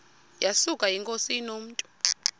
yesuka inkosi inomntu